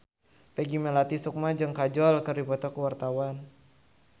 Peggy Melati Sukma jeung Kajol keur dipoto ku wartawan